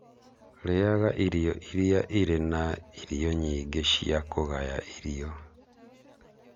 Rĩaga irio iria irĩ na irio nyingĩ cia kũgaya irio.